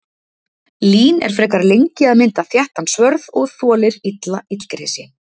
Lín er frekar lengi að mynda þéttan svörð og þolir illa illgresi.